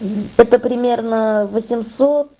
это примерно восемьсот